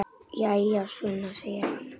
Jæja, Sunna, segir hann.